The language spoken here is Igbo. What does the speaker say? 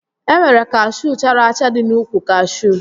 E nwere kashuu chara acha dị n'úkwù kashuu